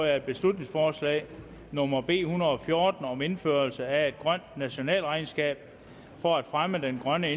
at beslutningsforslag nummer b en hundrede og fjorten om indførelse af et grønt nationalregnskab for at fremme den grønne